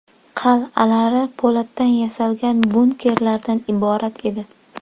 Qal’alar po‘latdan yasalgan bunkerlardan iborat edi.